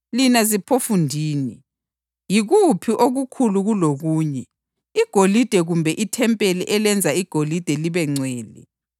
Lina ziphofundini! Yikuphi okukhulu kulokunye: igolide kumbe ithempeli elenza igolide libengcwele?